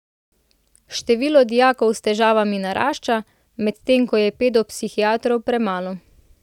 Število dijakov s težavami narašča, medtem ko je pedopsihiatrov premalo.